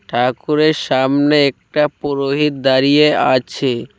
ঠাকুরের সামনে একটা পুরোহিত দাঁড়িয়ে আছে।